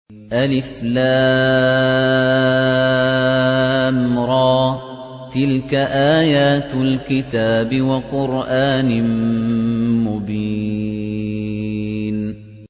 الر ۚ تِلْكَ آيَاتُ الْكِتَابِ وَقُرْآنٍ مُّبِينٍ